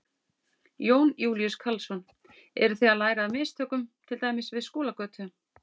Jón Júlíus Karlsson: Eru þið að læra af mistökum til dæmis við Skúlagötu?